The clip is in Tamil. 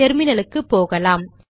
டெர்மினலுக்கு போகலாம்